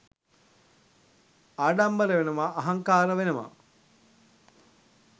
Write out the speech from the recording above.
ආඩම්බර වෙනවා අහංකාර වෙනවා